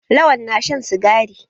Lawan na shan sigari.